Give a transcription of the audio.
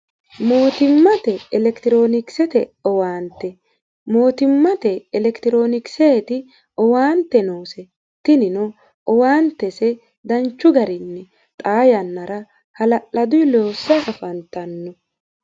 mootimmate elekitiroonikisete owaante mootimmate elekitiroonikiseeti owaante noose tinino owaantese danchu garinni xaa yannara hala'ladunni loossanni afantanno.